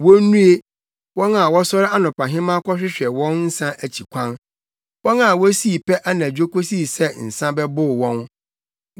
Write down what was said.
Wonnue, wɔn a wɔsɔre anɔpahema kɔhwehwɛ wɔn nsa akyi kwan wɔn a wosii pɛ anadwo kosi sɛ nsa bɛbow wɔn.